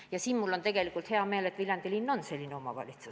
Ja mul on väga hea meel, et Viljandi linn on selline omavalitsus.